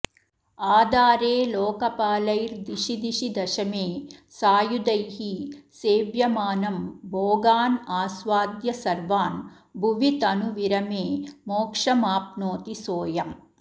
आधारे लोकपालैर्दिशिदिशि दशमे सायुधैः सेव्यमानं भोगानास्वाद्य सर्वान् भुवि तनुविरमे मोक्षमाप्नोति सोऽयम्